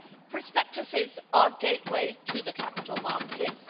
Prospectuses are a gateway to the capital markets.